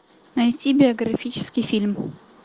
найти биографический фильм